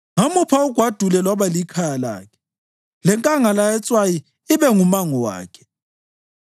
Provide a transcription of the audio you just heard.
Ngamupha ugwadule lwaba likhaya lakhe, lenkangala yetswayi ibe ngumango wakhe.